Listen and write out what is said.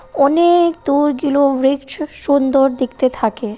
অনে-এক দূর গিলুম ব্রিক্স সুন্দর দেখতে থাকে।